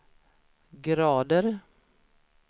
grader